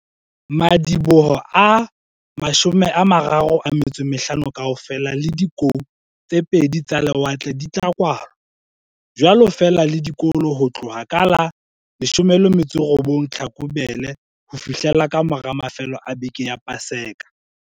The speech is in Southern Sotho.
Madiboho a 35 kaofela le dikou tse pedi tsa lewatle di tla kwalwa, jwalo feela le dikolo ho tloha ka la 18 Tlhakubele ho fihlela kamora mafelo a beke ya Paseka.